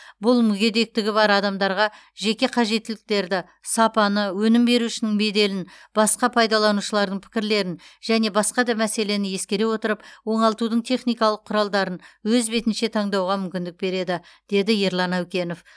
бұл мүгедектігі бар адамдарға жеке қажеттіліктерді сапаны өнім берушінің беделін басқа пайдаланушылардың пікірлерін және басқа да мәселені ескере отырып оңалтудың техникалық құралдарын өз бетінше таңдауға мүмкіндік береді деді ерлан әукенов